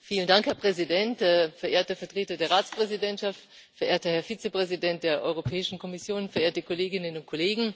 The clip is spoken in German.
Herr Präsident, verehrte Vertreter der Ratspräsidentschaft, verehrter Herr Vizepräsident der Europäischen Kommission, verehrte Kolleginnen und Kollegen!